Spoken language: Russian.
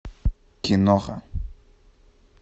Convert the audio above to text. киноха